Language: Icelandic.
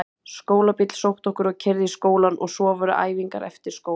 Skólabíll sótti okkur og keyrði í skólann og svo voru æfingar eftir skóla.